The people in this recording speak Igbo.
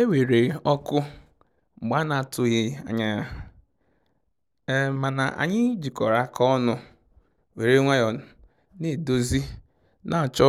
E weere ọkụ mgbe a na atụghị anya ya, mana anyị jikọrọ aka ọnụ were nwayọ na edozi na achọ